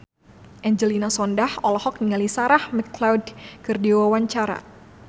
Angelina Sondakh olohok ningali Sarah McLeod keur diwawancara